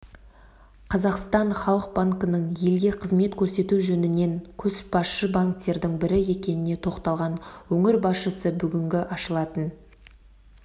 қазақстан халық банкінің елге қызмет көрсету жөнінен көшбасшы банктердің бірі екеніне тоқталған өңір басшысы бүгінгі ашылатын